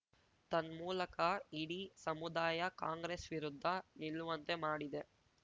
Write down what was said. ತನ್ಮೂಲಕ ಇಡೀ ಸಮುದಾಯ ಕಾಂಗ್ರೆಸ್‌ ವಿರುದ್ಧ ನಿಲ್ಲುವಂತೆ ಮಾಡಿದೆ